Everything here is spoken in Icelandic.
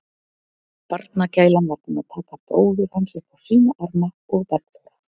Barnagælan var búin að taka bróður hans upp á sína arma og Bergþóra